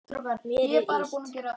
Mér er illt.